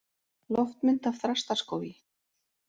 Loftmynd af Þrastaskógi.